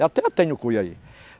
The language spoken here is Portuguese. Eu até tenho cuia aí.